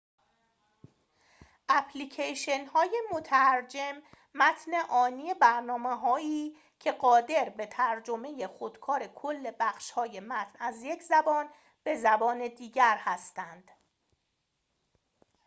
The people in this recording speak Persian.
اپلیکیشن‌های مترجم متن آنی برنامه هایی که قادر به ترجمه خودکار کل بخشهای متن از یک زبان به زبان دیگر هستند